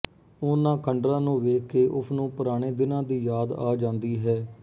ਉਨ੍ਹਾਂ ਖੰਡਰਾਂ ਨੂੰ ਵੇਖਕੇ ਉਸਨੂੰ ਪੁਰਾਣੇ ਦਿਨਾਂ ਦੀ ਯਾਦ ਆ ਜਾਂਦੀ ਹੈ